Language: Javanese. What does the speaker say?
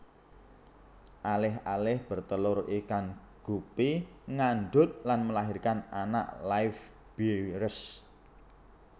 Alih alih bertelur ikan gupi ngandunt lan melahirkan anak livebearers